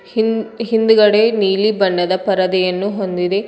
ಹಿಂದ್-ಹಿಂದ್ಗಡೆ ನೀಲಿ ಬಣ್ಣದ ಪರದೆಯನ್ನು ಹೊಂದಿದೆ.